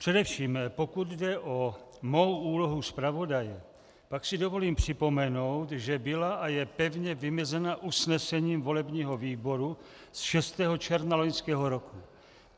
Především pokud jde o mou úlohu zpravodaje, pak si dovolím připomenout, že byla a je pevně vymezena usnesením volebního výboru z 6. června loňského roku.